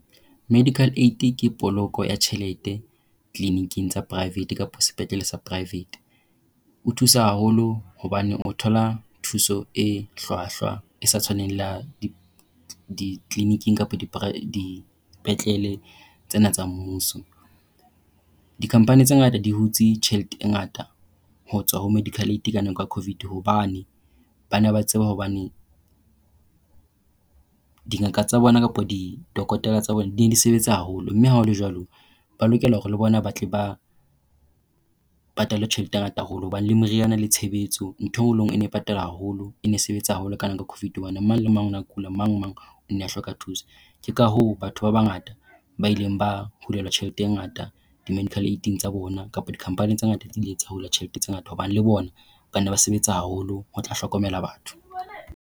Medical Aid ke poloko ya tjhelete clinic-ing tsa private kapa sepetlele sa private. O thusa haholo hobane o thola thuso e hlwahlwa e sa tshwaneng le di clinic-ng kapa dipetlele tsena tsa mmuso. Di-company tse ngata di hutse tjhelete e ngata ho tswa ho medical aid ka nako ya Covid hobane ba ne ba tseba hobane dingaka tsa bona kapa di-dokotela tsa bona di ne di sebetsa haholo mme ha hole jwalo, ba lokela hore le bona ba tle ba ho patalwe tjhelete e ngata haholo. Hobane le moriana le tshebetso, ntho e nngwe le e nngwe e ne patala haholo. E ne sebetsa haholo ka Covid hobane mang le mang o na kula, mang le mang o na hloka thusa. Ke ka hoo batho ba bangata ba ileng ba hulelwa tjhelete e ngata di-medical aid-ng tsa bona, kapa di-company tse ngata di ile tsa hula tjhelete tse ngata hobane le bona ba ne ba sebetsa haholo ho tla hlokomela batho.